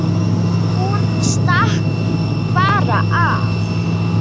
Hún stakk bara af.